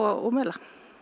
og mela